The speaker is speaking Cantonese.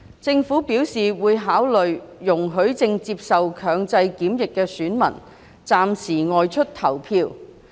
政府表示會考慮容許正接受強制檢疫的選民暫時外出投票。